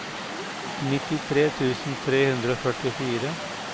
nittitre tusen tre hundre og førtifire